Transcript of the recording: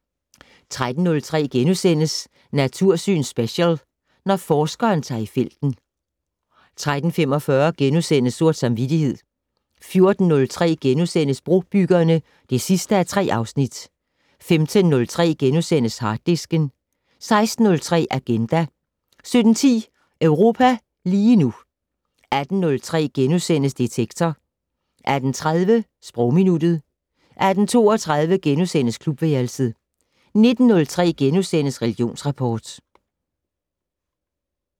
13:03: Natursyn Special: Når forskeren tager i felten * 13:45: Sort samvittighed * 14:03: Brobyggerne (3:3)* 15:03: Harddisken * 16:03: Agenda 17:10: Europa lige nu 18:03: Detektor * 18:30: Sprogminuttet 18:32: Klubværelset * 19:03: Religionsrapport *